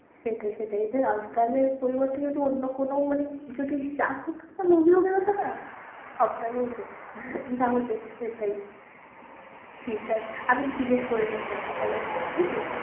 সেটাই সেটাই, এটা আস্তাকের পরিবর্তে যদি অন্য কোনো মানে যদি যাহোক একটা movie হতো না, সবাই একবারে যেত, তাও যেত সেটাই ঠিক আছে আমি জিজ্ঞেস করে নিচ্ছি একবার তাহলে।